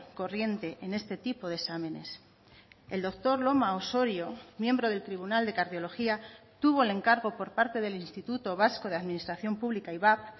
corriente en este tipo de exámenes el doctor loma osorio miembro del tribunal de cardiología tuvo el encargo por parte del instituto vasco de administración publica ivap